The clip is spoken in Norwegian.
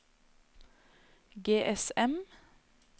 GSM